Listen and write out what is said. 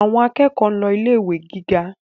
Àwọn akẹ́kọ̀ọ́ ń lọ ilé ìwé gíga